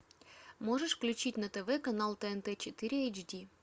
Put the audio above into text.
можешь включить на тв канал тнт четыре эйч ди